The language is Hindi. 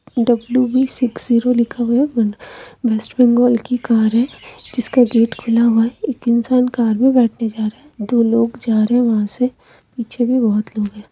डब्लू व्ही सिक्स झिरो लिखा हुआ वेस्ट बंगाल की कार है जिसका गेट खुला हुआ है एक इंसान कार में बैठने जा रहे हैं दो लोग जा रहे हैं वहां से पीछे भी बहुत लोग हैं।